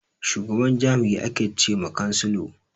Shugaban jami'i ake che ma chancellor.